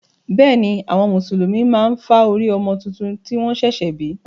Bẹ́ẹ̀ ni, àwọn Mùsùlùmí máa ń fá orí ọmọ tuntun tí wọ́n ṣẹ̀ṣẹ̀ bí.